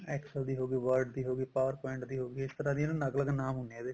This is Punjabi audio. excel ਦੀ ਹੋਗੀ word ਦੀ ਹੋਗੀ power point ਦੀ ਹੋਗੀ ਇਸ ਤਰ੍ਹਾਂ ਦੇ ਅਲੱਗ ਅਲੱਗ ਨਾਮ ਹੁੰਦੇ ਆ ਇਹਦੇ